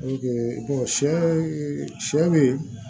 sɛ sɛ be